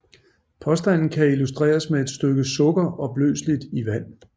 Påstanden kan illustreres med et stykke sukker opløseligt i vand